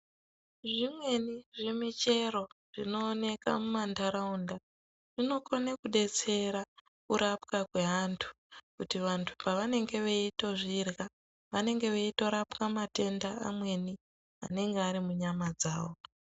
Zvimweni zvimichero zvinooneka mumandaraunda zvinokone kubetsera kurapwa kwevantu kuti vantu pavanange veitozvirya vanenge veitorapwa matenda amweni anenge ari munyama dzawo.